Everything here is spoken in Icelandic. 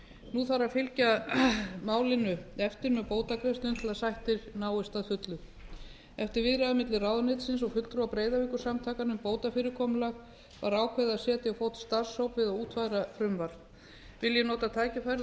nú þarf að fylgja málinu eftir með bótagreiðslum til að sættir náist að fullu eftir viðræður milli ráðuneytisins og fulltrúa breiðavíkursamtakanna um bótafyrirkomulag var ákveðið á setja á fót starfshóp við að útfæra frumvarp vil ég nota tækifærið